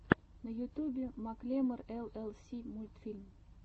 на ютюбе маклемор эл эл си мультфильм